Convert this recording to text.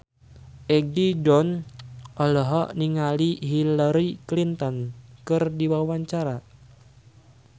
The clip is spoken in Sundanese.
Egi John olohok ningali Hillary Clinton keur diwawancara